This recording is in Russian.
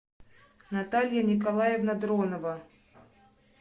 наталья николаевна дронова